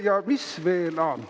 Ja mis veel?